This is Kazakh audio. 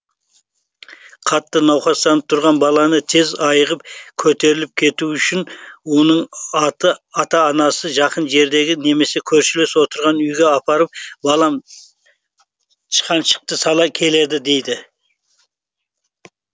қатты науқастанып тұрған баланы тез айығып көтеріліп кетуі үшін оның ата анасы жақын жердегі немесе көршілес отырған үйге апарып балам тышқаншықты сала келді дейді